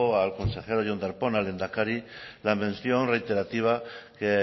al consejero jon darpón al lehendakari la mención reiterativa que